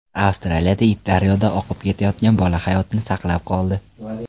Avstraliyada it daryoda oqib ketayotgan bola hayotini saqlab qoldi.